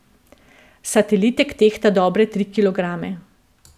Satelitek tehta dobre tri kilograme.